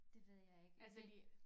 Det ved jeg ikke men